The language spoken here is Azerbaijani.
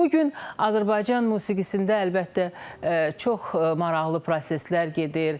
Bu gün Azərbaycan musiqisində, əlbəttə, çox maraqlı proseslər gedir.